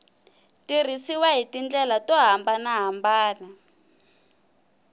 tirhisiwa hi tindlela to hambanahambana